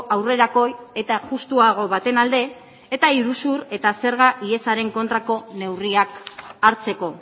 aurrerakoi eta justuago baten alde eta iruzur eta zerga ihesaren kontrako neurriak hartzeko